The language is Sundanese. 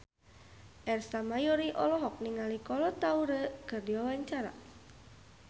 Ersa Mayori olohok ningali Kolo Taure keur diwawancara